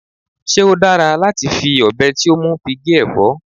se o dara lati fi obe ti o mu fi ge efo?